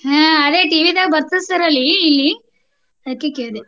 ಹಾ ಅದೆ TV ದಾಗ್ ಬರ್ತಿತ್ sir ಅಲ್ಲಿ ಇಲ್ಲಿ ಅದ್ಕೆ ಕೇಳ್ದೆ.